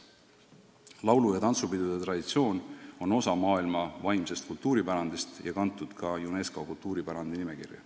Laulu- ja tantsupidude traditsioon on osa maailma vaimsest kultuuripärandist ja kantud ka UNESCO kultuuripärandi nimekirja.